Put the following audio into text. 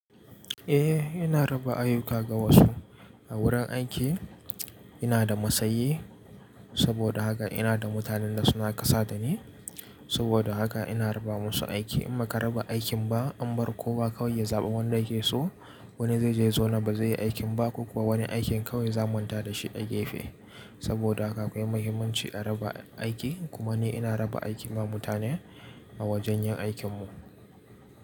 Eh ina raba ayuka ga wasu a wurin aiki. Ina da masayi saboda haka ina da mutanen da suna kasa da ni saboda haka ina raba masu aiki. In ba ka raba aikin ba an bar kowa kawai ya zaɓi wanda yake so wani zai je zona ba zai yi aikin ba ko kuwa wani aikin kawai zamanta da shi da gefe saboda haka akwai muhimmanci a raba aiki kuma ni ina raba aiki ma mutane a wajen yin aikinmu.